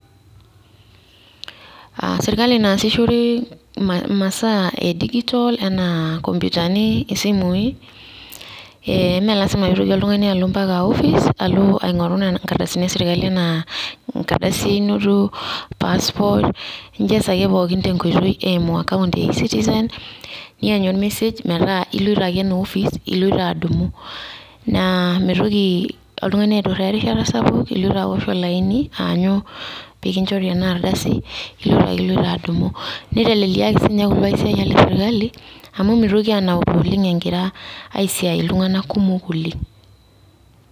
Ah sirkali naasishore masaa edijitol enaa nkompitani, isimui eh me lasima pitoki oltung'ani alo mpaka ofis alo aing'oru ikardasini esirkali enaa ekardasi einoto, passport, ijeza ake pookin tenkoitoi eimu account e-citizen ,nianyu ormesej metaa iloito ake ina ofis iloito adumu. Na mitoki oltung'ani aiturraa erishata sapuk iloito awosh olaini aanyu pikinjori enardasi ,iloito ake iloito adumu. Niteleliaki sinye kulo aisiayiak le sirkali amu mitoki anauru oleng' egira aisiai iltung'anak kumok oleng'.